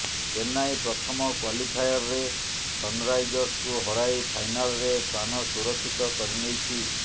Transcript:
ଚେନ୍ନାଇ ପ୍ରଥମ କ୍ୱାଲିଫାୟରରେ ସନ୍ରାଇଜର୍ସକୁ ହରାଇ ଫାଇନାଲ୍ରେ ସ୍ଥାନ ସୁରକ୍ଷିତ କରି ନେଇଛି